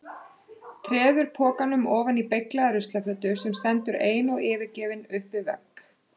Treður pokanum ofan í beyglaða ruslafötu sem stendur ein og yfirgefin upp við vegg.